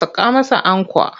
Saka masa ankwa!